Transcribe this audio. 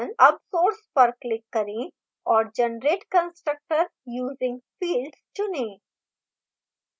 अब source पर click करें और generate constructor using fields चुनें